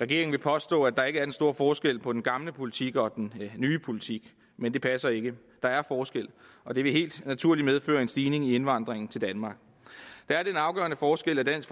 regeringen vil påstå at der ikke er den store forskel på den gamle politik og den nye politik men det passer ikke der er forskel og det vil helt naturligt medføre en stigning i indvandringen til danmark der er den afgørende forskel at dansk